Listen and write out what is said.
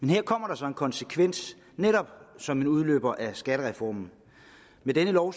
her kommer der så en konsekvens netop som en udløber af skattereformen med denne lov